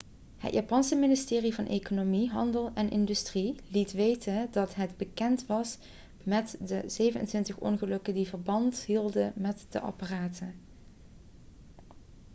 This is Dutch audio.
het japanse ministerie van economie handel en industrie meti liet weten dat het bekend was met de 27 ongelukken die verband hielden met de apparaten